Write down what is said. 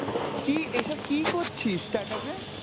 কী এইসব কী করছিস ‍status এ?